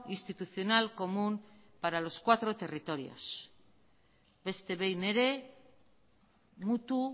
institucional común para los cuatro territorios beste behin ere mutu